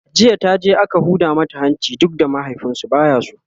jiya taje aka Huda mata hanci duk da mahaifinsu baya so